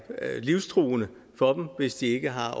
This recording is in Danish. livstruende for dem hvis de ikke har